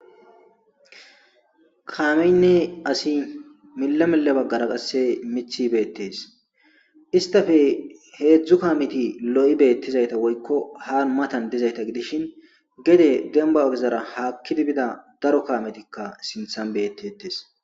kaameynne asi milla mille baggara qasse mithi beettes istafe heedzdzu kaameti lo7i beettizayta woykko haan matan dizayta gidishin gede demba ogezara haakkidibida daro kaametikka sinthan beettetes